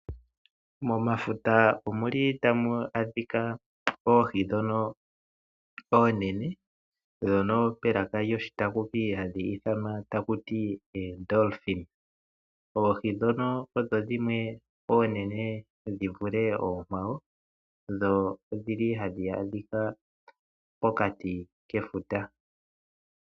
Momafuta omuli tamu adhika oohi ndhono oonene, ndhono melaka lyoshitakumi hadhi ithanwa taku ti ooDolfin. Oohi ndhono odho dhimwe oonene dhi vule oonkwawo dho odhili hadhi adhika mokati kefuta.